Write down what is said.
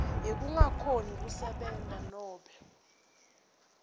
yekungakhoni kusebenta nobe